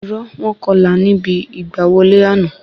Irọ́ wọ́n kọlà níbi ìgbà wọlé àná